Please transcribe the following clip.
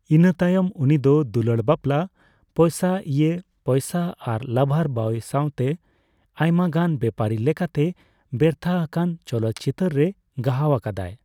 ᱤᱱᱟᱹ ᱛᱟᱭᱚᱢ ᱩᱱᱤᱫᱚ ᱫᱩᱞᱟᱹᱲ ᱵᱟᱯᱞᱟ, ᱯᱚᱭᱥᱟ ᱤᱭᱮᱹ ᱯᱚᱭᱥᱟ ᱟᱨ ᱞᱟᱵᱷᱟᱨ ᱵᱚᱭ ᱥᱟᱣᱛᱮ ᱟᱭᱢᱟᱜᱟᱱ ᱵᱮᱯᱟᱨᱤ ᱞᱮᱠᱟᱛᱮ ᱵᱮᱨᱛᱷᱟ ᱟᱠᱟᱱ ᱪᱚᱞᱚᱛ ᱪᱤᱛᱟᱹᱨ ᱨᱮ ᱜᱟᱦᱟᱣ ᱟᱠᱟᱫᱟᱭ ᱾